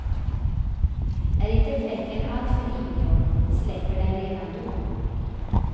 Är inte fläcken allt för ingrodd släpper den redan då.